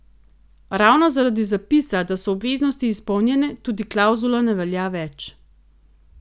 Ravno zaradi zapisa, da so obveznosti izpolnjene, tudi klavzula ne velja več.